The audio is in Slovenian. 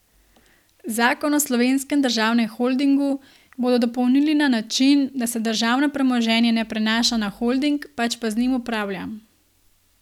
Zakon o Slovenskem državnem holdingu bodo dopolnili na način, da se državno premoženje ne prenaša na holding, pač pa z njim upravlja.